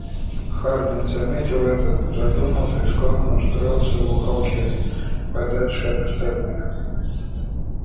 хардин заметил это задумался и скромно устроился в уголке подальше от остальных